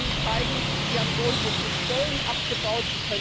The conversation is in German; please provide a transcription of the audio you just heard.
Ja, Sie können zeigen Sie haben soundso viele Stellen abgebaut.